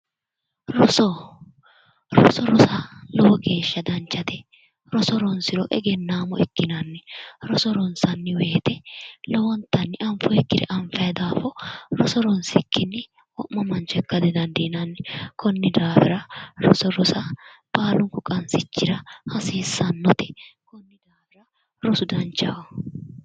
roso roso rosa lowo geeshsha danchate roso ronsiro egennaamo ikkinanni roso ronsanniwoyite lowontanni anfoyikkire anfanni daafo roso ronsikki wo'ma mancho ikkinayikki daafo konni daafira roso rosa baalunku qansichira hasiissannote.